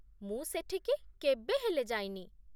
ମୁଁ ସେଠିକି କେବେ ହେଲେ ଯାଇନି ।